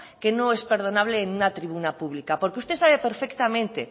que no es perdonable en una tribuna pública porque usted sabe perfectamente